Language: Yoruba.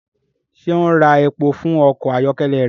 Ṣe o ń rà èpò fún ọkọ ayọkẹlẹ rẹ?